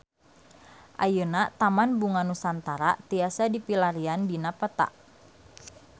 Ayeuna Taman Bunga Nusantara tiasa dipilarian dina peta